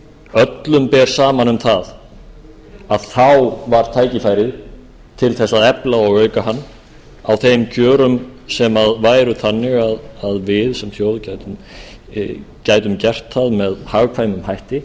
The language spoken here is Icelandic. öllum ber saman um það að þá var tækifærið til þess að efla og auka hann á þeim kjörum sem væru þannig að við sem þjóð gætum gert það með hagkvæmum hætti